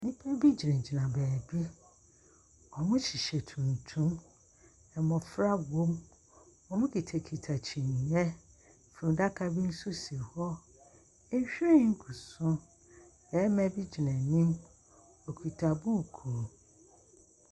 Nnipa bi gyina gyina baabi. Ɔmo hyehyɛ tuntum. Mmofra wom. Ɔmo kita kita kyeneɛ. Funu adaka bi nso si hɔ. Nhwiren gu so. Bɛrima bi gyina anim okita buuku.